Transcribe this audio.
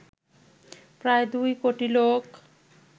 প্রায় দুই কোটি লোক